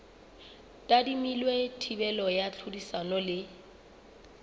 tadimilwe thibelo ya tlhodisano le